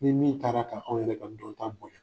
Ni min taara k' anw yɛrɛ ka dɔn ta